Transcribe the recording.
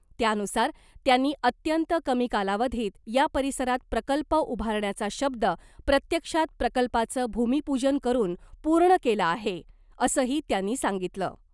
त्यानुसार त्यांनी अत्यंत कमी कालावधीत या परिसरात प्रकल्प उभारण्याचा शब्द प्रत्यक्षात प्रकल्पाचं भूमिपूजन करून पूर्ण केला आहे , असंही त्यांनी सांगितलं .